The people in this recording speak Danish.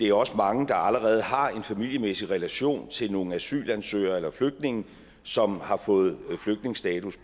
er også mange der allerede har en familiemæssig relation til nogle asylansøgere eller flygtninge som har fået flygtningestatus